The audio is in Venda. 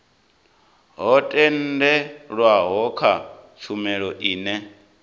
ho tendelwaho kha tshumelo ine